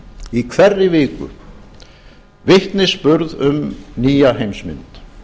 í hverri viku vitnisburð um nýja heimsmynd